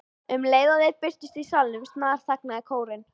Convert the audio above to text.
Um leið og þeir birtust í salnum snarþagnaði kórinn.